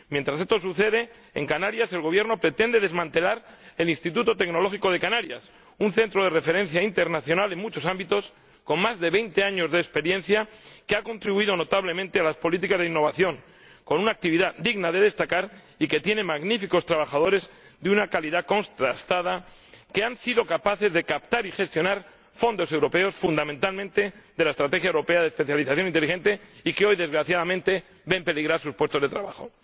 Mientras esto sucede, en Canarias el Gobierno pretende desmantelar el Instituto Tecnológico de Canarias, un centro de referencia internacional en muchos ámbitos, con más de veinte años de experiencia, que ha contribuido notablemente a las políticas de innovación, con una actividad digna de destacar y que tiene magníficos trabajadores, de una calidad contrastada, que han sido capaces de captar y gestionar fondos europeos, fundamentalmente de la Estrategia Europea de Especialización Inteligente y que hoy, desgraciadamente, ven peligrar sus puestos de trabajo.